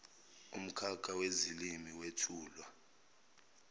umkhakha wezilimi wethulwa